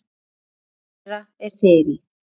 Barn þeirra er Þyrí.